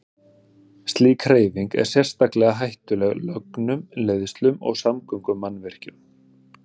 Slík hreyfing er sérstaklega hættuleg lögnum, leiðslum og samgöngumannvirkjum.